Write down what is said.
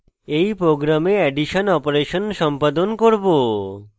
in program addition operation সম্পাদন করব